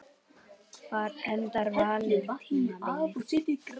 Hvar endar Valur tímabilið?